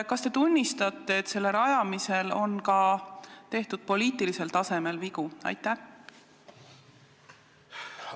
Kas te tunnistate, et selle kooli puhul on ka tehtud poliitilisel tasandil vigu?